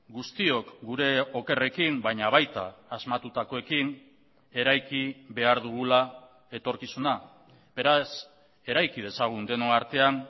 guztiok gure okerrekin baina baita asmatutakoekin eraiki behar dugula etorkizuna beraz eraiki dezagun denon artean